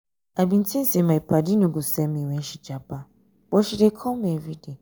i bin tink sey my paddy no go send me wen she japa but she dey call me everyday.